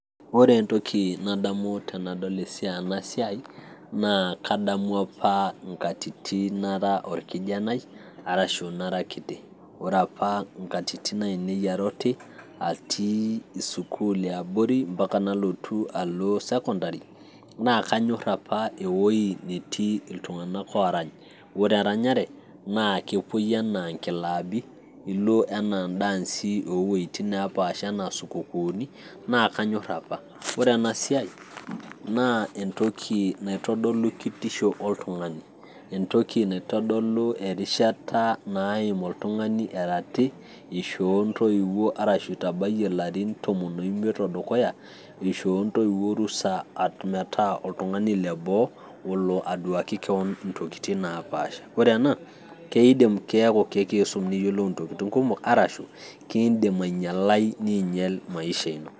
ore entoki nadamu tenadol ena siai, naa kadamu apa inatitin nara orkijanai, arashu nara kiti. ore apa nkatitin aainei ara oti ,atii sukuul eabrori, mpaka nalotu alo sekondari, naa kanyor apa ewui apa netii iltunganak oorany. ore eranyare naa kepuoi anaa inklaabi, ilo anaa idaansi oo wueitin neepaasha anaa isukukuuni, naa kanyor apa ore ena siai, naa entoki naitodolu kitisho oltungani. entoki naitodolu erishata naaim oltungani, erati, ishoo ntoiwuo arashu itabayie larin tomon imiet odukuya, ishoo ntoiiwuo orusa metaa oltungani leboo olo aduaki kewon intokitin napaasha.